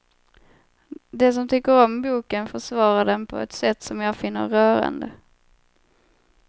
De som tycker om boken försvarar den på ett sätt som jag finner rörande.